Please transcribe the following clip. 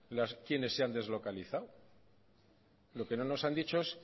quiénes se han deslocalizado lo que no nos han dicho es